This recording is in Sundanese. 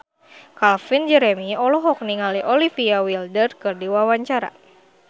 Calvin Jeremy olohok ningali Olivia Wilde keur diwawancara